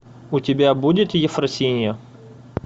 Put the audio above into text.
у тебя будет ефросинья